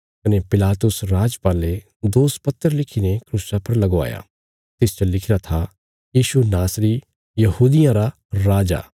कने पिलातुस राजपाले दोषपत्र लिखीने क्रूसा पर लगवाया तिसच लिखिरा था यीशु नासरी यहूदियां रा राजा